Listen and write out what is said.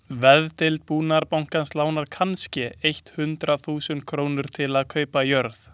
Veðdeild Búnaðarbankans lánar kannske eitt hundrað þúsund krónur til að kaupa jörð.